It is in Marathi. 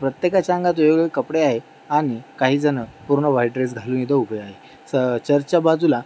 प्रत्येकाच्या अंगात वेगवेगळे कपडे आहे आणि काही जण पूर्ण व्हाइट ड्रेस घालून इथे उभे आहे. स चर्चच्या बाजूला